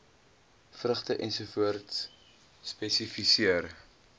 vrugte ens spesifiseer